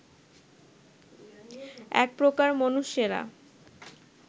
এক প্রকার মনুষ্যেরা